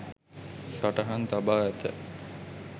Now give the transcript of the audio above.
සටහන් තබා ඇත.